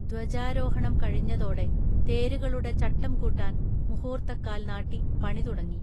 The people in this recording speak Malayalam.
ധ്വജാരോഹണം കഴിഞ്ഞതോടെ തേരുകളുടെ ചട്ടം കൂട്ടാൻ മുഹൂർത്തക്കാൽ നാട്ടി പണി തുടങ്ങി